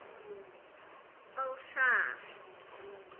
Ó, það!